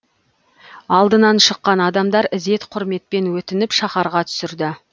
алдынан шыққан адамдар ізет құрметпен өтініп шаһарға түсірді